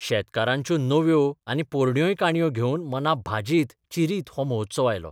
शेतकारांच्यो नव्यो आनी पोरण्योय काणयो घेवन मनां भाजीत चिरीत हो महोत्सव आयलो.